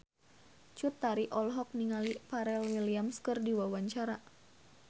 Cut Tari olohok ningali Pharrell Williams keur diwawancara